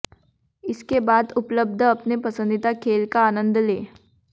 इसके बाद उपलब्ध अपने पसंदीदा खेल का आनंद लें